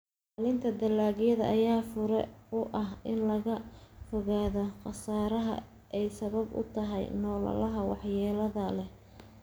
Ilaalinta dalagyada ayaa fure u ah in laga fogaado khasaaraha ay sabab u tahay noolaha waxyeelada leh.